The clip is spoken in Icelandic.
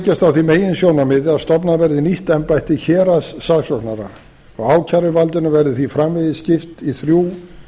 byggðust á því meginsjónarmiði að stofnað verði nýtt embætti héraðssaksóknara og ákæruvaldinu verði því framvegis skipt í þrjú